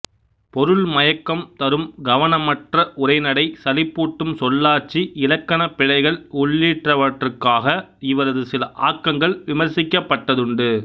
பொருள் மயக்கம் தரும் கவனமற்ற உரைநடை சலிப்பூட்டும் சொல்லாட்சி இலக்கணப் பிழைகள் உள்ளிட்டவற்றுக்காக இவரது சில ஆக்கங்கள் விமர்சிக்கப்பட்டதுண்டு